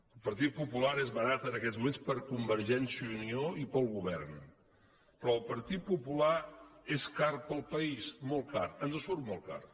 el partit popular és barat en aquests moments per a convergència i unió i per al govern però el partit popular és car per al país molt car ens surt molt car